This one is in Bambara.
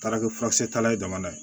Taara kɛ furakisɛ talan ye jamana ye